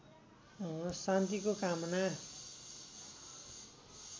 शान्तिको कामना